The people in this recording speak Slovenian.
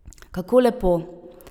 Kako lepo.